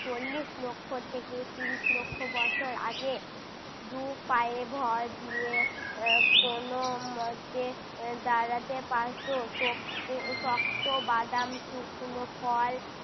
চল্লিশ লক্ষ থেকে ত্রিশ লক্ষ বছর আগে। দু পায়ে ভর দিয়ে আহ কোনো মতে আহ দাঁড়াতে পারতো, শক্তে আহ শক্ত বাদাম শুকনো ফল